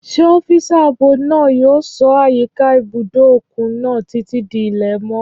Ṣé ọ́físà ààbò náà yóò ṣọ́ àyíká ibùdó òkun náà títí di ilẹ̀ mọ́?